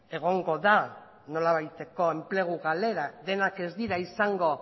egongo da nolabaiteko enplegu galera denak ez dira izango